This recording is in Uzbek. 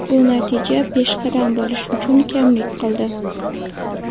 Bu natija peshqadam bo‘lish uchun kamlik qildi.